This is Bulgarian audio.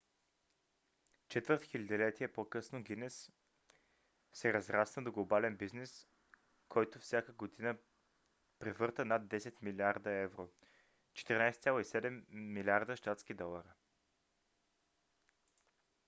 четвърт хилядолетие по-късно гинес се разрасна до глобален бизнес който всяка година превърта над 10 милиарда евро 14,7 милиарда щатски долара